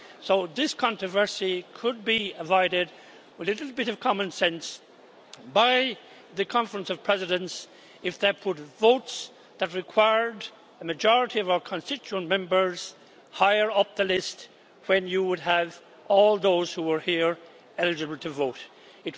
So this controversy could be avoided with a bit of common sense by the Conference of Presidents if they put votes that required a majority of our constituent members higher up the list when you would have all those who were eligible to vote here.